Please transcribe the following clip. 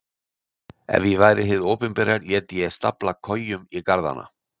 Ef ég væri hið opinbera léti ég stafla kojum í garðana.